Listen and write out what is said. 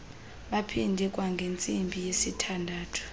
baphinde kwangentsimbi yesithandathu